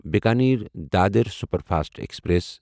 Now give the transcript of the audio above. Bikaner Dadar superfast express